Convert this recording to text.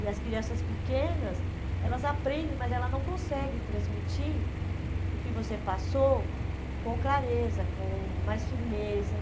E as crianças pequenas, elas aprendem, mas elas não conseguem transmitir o que você passou com clareza, com mais firmeza.